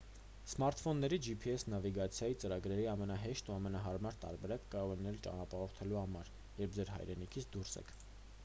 սմարթֆոնների gps նավիգացիայի ծրագրերը ամենահեշտ և ամենահարմար տարբերակը կարող է լինել ճանապարհորդելու համար երբ ձեր հայրենիքից դուրս եք